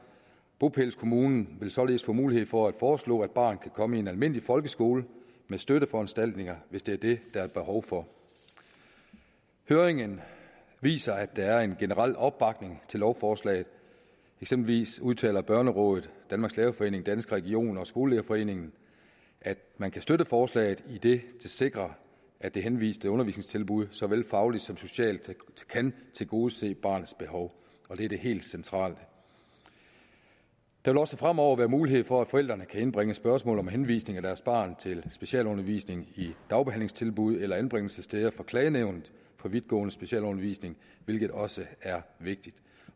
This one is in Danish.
bopælskommunen vil således få mulighed for at foreslå at barnet kan komme i en almindelig folkeskole med støtteforanstaltninger hvis det er det der er behov for høringen viser at der er en generel opbakning til lovforslaget eksempelvis udtaler børnerådet danmarks lærerforening danske regioner og skolelederforeningen at man kan støtte forslaget idet det sikrer at det henviste undervisningstilbud såvel fagligt som socialt kan tilgodese barnets behov og det er det helt centrale der vil også fremover være mulighed for at forældrene kan indbringe spørgsmålet om henvisning af deres barn til specialundervisning i dagbehandlingstilbud eller anbringelsessteder for klagenævnet for vidtgående specialundervisning hvilket også er vigtigt